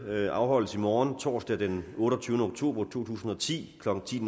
møde afholdes i morgen torsdag den otteogtyvende oktober to tusind og ti klokken ti